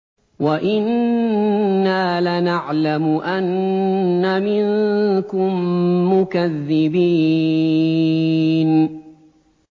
وَإِنَّا لَنَعْلَمُ أَنَّ مِنكُم مُّكَذِّبِينَ